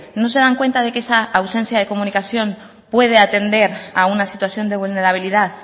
no se dan cuenta que esa ausencia de comunicación puede atender a una situación de vulnerabilidad